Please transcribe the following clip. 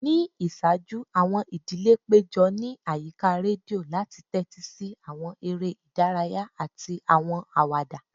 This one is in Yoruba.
Ni iṣaaju, awọn idile pejọ ni ayika redio lati tẹtisi awọn ere idaraya ati awọn awada.